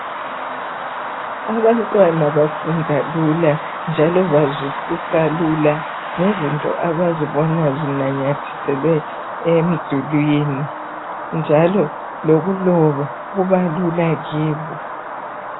Abantwana bafunda lula njalo bazwisisa lula ngezinto abazibona zinanyathiselwe emdulwini njalo lokuloba kubalula kibo.